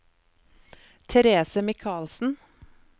Therese Michaelsen